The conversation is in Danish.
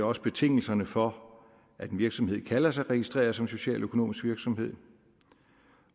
også betingelserne for at en virksomhed kalder sig registreret socialøkonomisk virksomhed